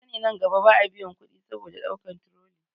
Kasani nan gaba ba a biyan kuɗi saboda ɗaukan turoli